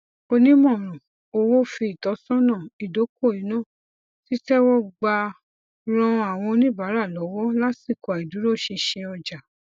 onímọràn owó fi ìtósọnà ìdokoìnà títẹwọgbà ran àwọn oníbàárà lọwọ lásìkò àìdúróṣinṣin ọjà